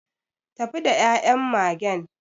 Tafi da ya'yan Magen.